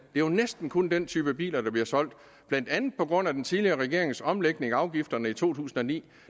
jo næsten kun den type biler der bliver solgt blandt andet på grund af den tidligere regerings omlægning af afgifterne i to tusind og ni